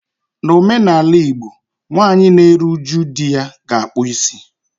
N'omenala Igbo, nwaanyị na-eru uju di ya ga-akpụ isi ya